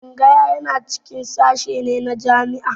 Tsangaya yana cikin sashe ne a jami'a